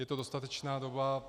Je to dostatečná doba.